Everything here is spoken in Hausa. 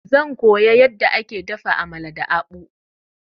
Zan koya yadda ake dafa Amala da akpu.